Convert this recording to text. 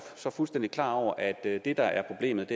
fuldstændig klar over at det der er problemet